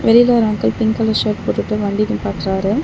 வெளில ஒரு uncle pink colour shirt போட்டுட்டு வண்டி நிப்பாட்றாரு.